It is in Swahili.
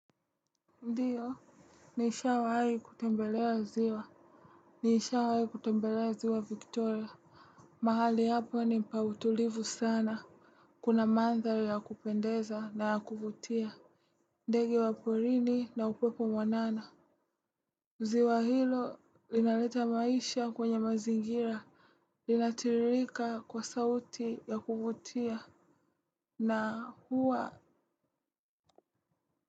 Ndiyo nishawai kutembelea ziwa nishawai kutembelea ziwa victoria mahali hapo ni pa utulivu sana kuna mandhari ya kupendeza na ya kuvutia ndege wa porini na upepo mwanana ziwa hilo linaleta maisha kwenye mazingira linatiririka kwa sauti ya kuvutia na huwa.